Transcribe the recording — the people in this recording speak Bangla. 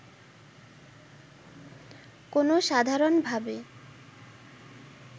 কোনও সাধারণভাবে